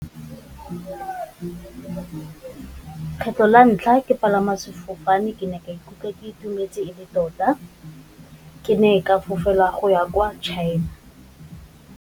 Kgetlho la ntlha ke palama sefofane ke ne ka ikutlwa ke itumetse e le tota, ke ne ka fofela go ya kwa China.